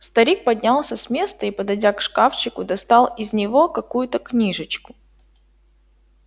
старик поднялся с места и подойдя к шкафчику достал из него какую-то книжечку